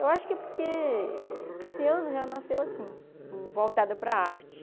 Eu acho que é porque esse ano já nasceu assim, voltada para a arte.